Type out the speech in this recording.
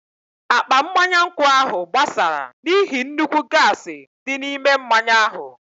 Akpa mmanya nkwụ ahụ gbásárá n'ihi nnukwu gaasi dị n'ime mmanya ahụ.